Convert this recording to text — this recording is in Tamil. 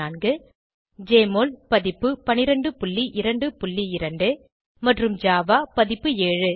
1204 ஜெஎம்ஒஎல் பதிப்பு 1222 மற்றும் ஜாவா பதிப்பு 7